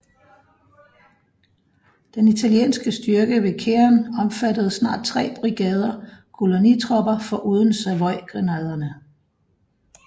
Den italienske styrke ved Keren omfattede snart tre brigader kolonitropper foruden Savoygrenadererne